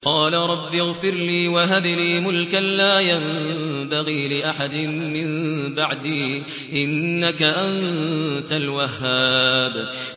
قَالَ رَبِّ اغْفِرْ لِي وَهَبْ لِي مُلْكًا لَّا يَنبَغِي لِأَحَدٍ مِّن بَعْدِي ۖ إِنَّكَ أَنتَ الْوَهَّابُ